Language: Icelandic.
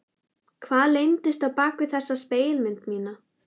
Hvað leyndist á bak við þessa spegilmynd mína?